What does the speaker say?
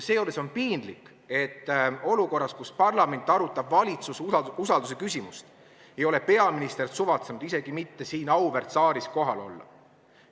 Seejuures on piinlik, et olukorras, kus parlament arutab valitsuse usaldusküsimust, ei ole peaminister suvatsenud isegi mitte siin auväärt saalis kohal olla.